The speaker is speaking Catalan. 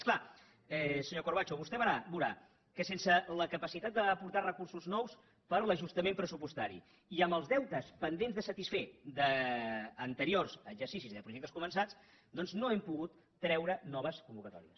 és clar senyor corbacho vostè veurà que sense la capacitat d’aportar recursos nous per l’ajustament pressupostari i amb els deutes pendents de satisfer d’anteriors exercicis i de projectes començats doncs no hem pogut treure noves convocatòries